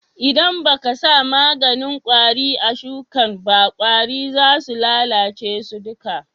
ldan ba ka sa maganin kwari a sukin ba, kwari za su lallace su duka.